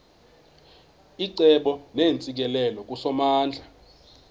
icebo neentsikelelo kusomandla